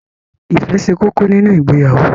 Ìfẹ́ ṣe kókó nínu ìgbéyàwó.